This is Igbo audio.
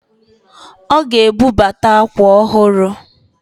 Ọ ga-ebubata akwa ọhụrụ